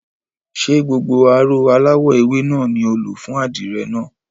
Ṣé gbogbo aró aláwọ̀ ewé náà ni o lò fún àdìrẹ náà?